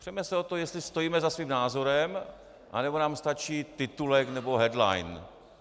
Přeme se o to, jestli stojíme za svým názorem, anebo nám stačí titulek nebo headline.